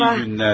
Yaxşı günlər.